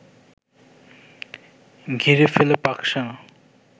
ঘিরে ফেলে পাকসেনা